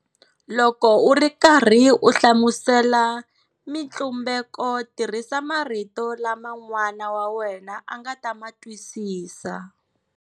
Loko u ri karhi u hlamusela mitlumbeko tirhisa marito lama n'wana wa wena a nga ta ma twisisa.